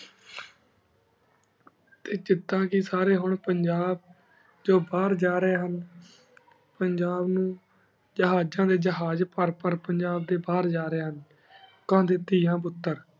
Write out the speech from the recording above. T ਚਕਾਂ ਚ ਸਾਰੀ ਹੁਣ ਪੰਜਾਬ ਜੋ ਬਹੇਰ ਜਾ ਰਹੀ ਹੁਣ ਪੰਜਾਬ ਨੂ ਜਹਾਜ਼ਾਂ ਡੀ ਜਹਾਜ਼ ਪਰ ਪਰ ਬਹੇਰ ਜਾ ਰਹੀ ਹੁਣ ਘਲ ਏਦਾਂ ਹੇ ਹੈਂ ਪੁਟਰ